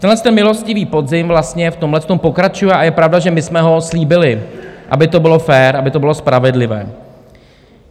Tenhle milostivý podzim vlastně v tomhle pokračuje a je pravda, že my jsme ho slíbili, aby to bylo fér, aby to bylo spravedlivé.